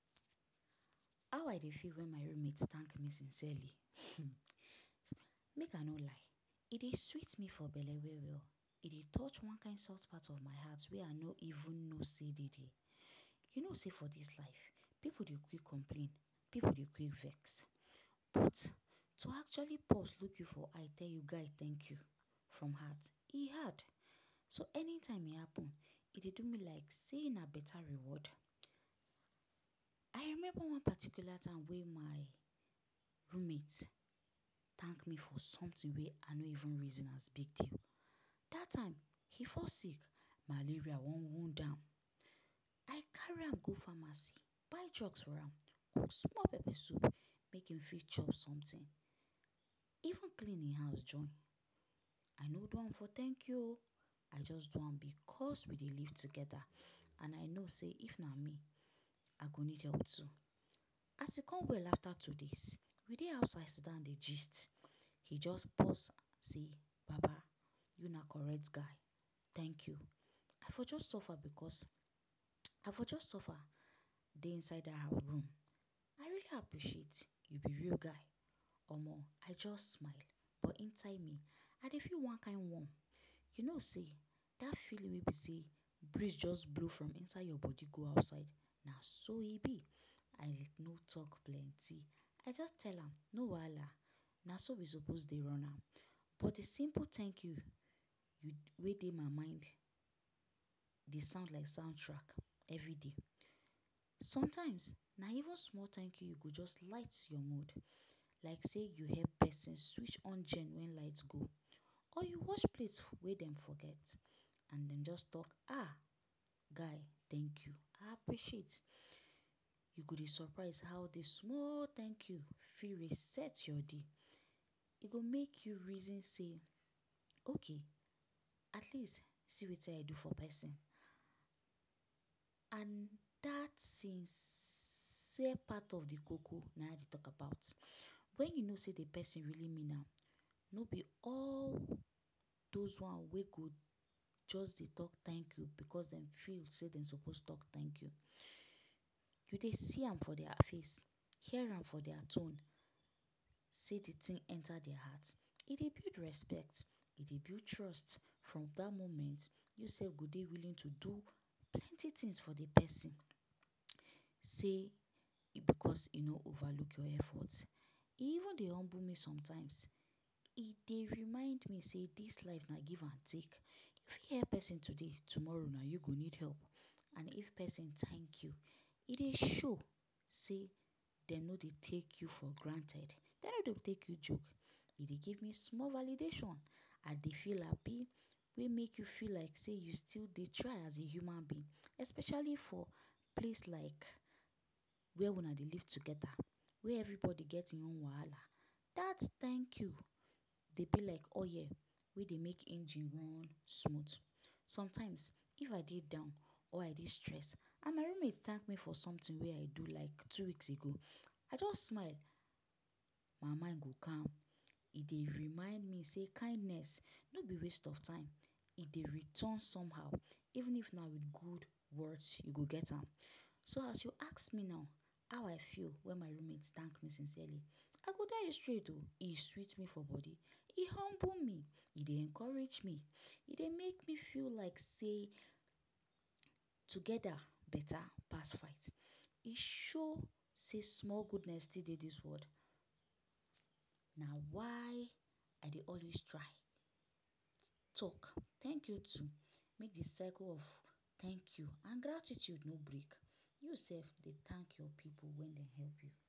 How I dey feel when my roommate thank me sincerely? um Make I no lie, e dey sweet me for belle well-well. E dey touch one kind soft part of my heart wey I no even know sey dey there. You know sey for this life pipu dey quick complain, pipu dey quick vex, but to actually pause look you for eye tell you ‘Guy, thank you!’ from heart, e hard. So, anytime e happen, e dey do me like sey na better reward. I remember one particular time wey my roommate thank me for something wey I no even reason as big deal. Dat time, he fall sick; malaria wan wound am. I carry am go pharmacy, buy drugs for am, cook small pepper soup make im fit chop something, even clean im house join. I no do am for ‘thank you o!’, I just do am because we dey live together and I know sey if na me, I go need help too. As im come well after two days, we dey outside sidan dey gist, e just pause say ‘Baba, you na correct guy, thank you! I for just suffer because um I for just suffer dey inside that room. I really appreciate, you be real guy!’ Omoh! I just smile, but inside me, I dey feel one kind warm. You know sey dat feeling wey be sey breeze just blow from inside your body go outside, na so e be! I no talk plenty, I just tell am ‘no wahala, na so we suppose dey run am’. But the simple ‘thank you’ wey dey my mind, dey sound like sound track every day. Sometimes, na even small thank you you go just light your mood like sey you help pesin switch on gen when light go. Or you wash plate wey dem forget, and you just talk ‘um guy, thank you! I appreciate’, you go dey surprise how the small thank you fit reset your day. E go make you reason sey ‘Okay, at least, see wetin I do for pesin’, and dat sincere part of the koko, na I dey talk about - when you know sey the pesin really mean am. No be all those one wey go just dey talk ‘thank you’ cos dem feel sey dem suppose talk ‘thank you’. You dey see am for dia face, hear am for dia tone sey de thing enter dia heart. E dey build respect, e dey build trust. From dat moment, you sef go dey willing to do plenty things for de pesin sey e because e no overlook your effort. E even dey humble me sometimes. E dey remind me sey dis life na give and take. You fit help pesin today; tomorrow na you go need help. And if pesin thank you, e dey show sey dem no dey take you for granted, dem no dey take you joke. E dey give me small validation, I dey feel happy, wey make you feel like sey you still dey try as a human being, especially for place like where una dey live together where everybody get e own wahala. Dat thank you dey be like oil wey dey make engine run smooth. Sometimes, if I dey down or I dey stress and my roommate thank me for something wey I do like two weeks ago, I just smile. My mind go calm. E dey remind me sey kindness no be waste of time. E dey return somehow, even if na with good words you go get am. So as you ask me now ‘how I feel when my roommate thank me sincerely’, I go tell you straight o! E sweet me for body, e humble me, e dey encourage me, e dey make me feel like sey together better pass fight. E show sey small goodness still dey dis world. Na why I dey always try talk ‘thank you too’ make the circle of thank you and gratitude no break. You sef, dey thank your pipu when dem help you.